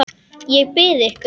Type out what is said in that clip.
Ég bið ykkur!